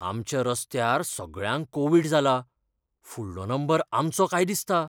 आमच्या रस्त्यार सगळ्यांक कोव्हिड जाला, फुडलो नंबर आमचो काय दिसता.